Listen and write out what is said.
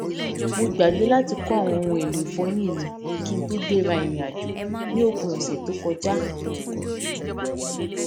mo gbàgbé láti kó àwọn ohun èlò ìfọyín mi kí n tó gbéra ìrìnàjò ní òpin òsè tó kọjá